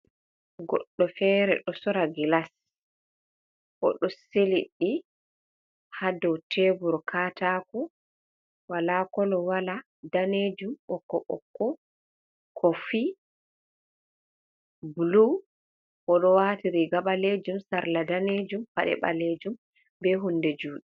Goddo fere do sora gilas, o do siliɗɗi hado tebur katako, wala kolo wala danejum bokko bokko kofii blu, o do waati riga balejum, sarla danejum, pade balejum, be hunde juɗe.